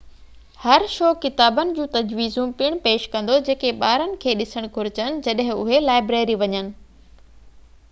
هر شو ڪتابن جون تجويزون پڻ پيش ڪندو جيڪي ٻارن کي ڏسڻ گهرجن جڏهن اهي لائبريري وڃن